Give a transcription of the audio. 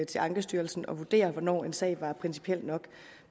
til ankestyrelsen at vurdere hvornår en sag var principiel nok